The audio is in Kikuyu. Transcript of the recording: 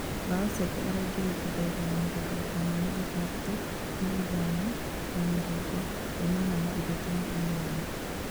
Mbaũ ciake araingĩririe ndagĩka ya mĩrongo ĩtano na ithatũ, ithano na mĩrongo ĩnana na ithatũ na inyanya